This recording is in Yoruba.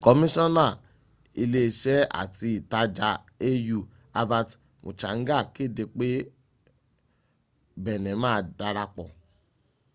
kọmíṣọ́nà ilé iṣẹ́ àti ìtajà au albert muchanga kéde pé benin ma darapọ̀